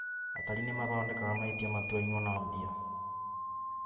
Atari nĩ mathondekaga mahĩtia matuainwo na mbia